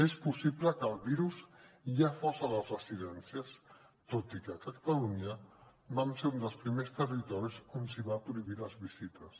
és possible que el virus ja fos a les residències tot i que a catalunya vam ser un dels primers territoris on es van prohibir les visites